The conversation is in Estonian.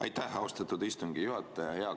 Aitäh, austatud istungi juhataja!